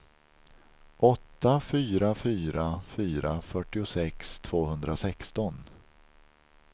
åtta fyra fyra fyra fyrtiosex tvåhundrasexton